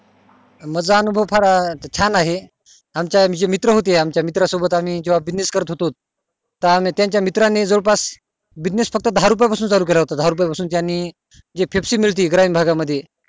माझा अनुभव खूप छान आहे आणखी मी आमचे आमचे मित्र होते आमच्या मित्रा सोबत जेव्हा आम्ही business करत होतोत त आम्ही त्याच्या मित्रा नि जवळ पास business फक्त दहा रुपये पासून चालू केला होता फक्त दहा रुपये पासून जी पेप्सी मिळती ग्रामीण भागा मधीं